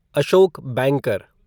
Ashok banker